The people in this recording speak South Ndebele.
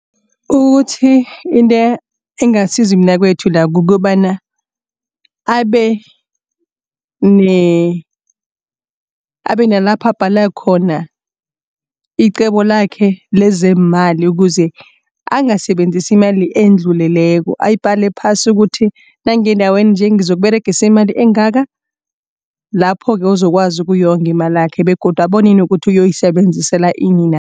Ukuthi into engasiza umnakwethu la kukobana abe abe nalapha abhala khona icebo lakhe lezeemali ukuze angasebenzisa imali endluleleko ayibhale phasi ukuthi nangiya endaweni nje ngizokuberegisa imali engaka. Lapho-ke uzokwazi ukuyonga imalakhe begodu abone nokuthi uzoyisebenzisela ini